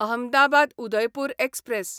Ahmedabad Udaipur express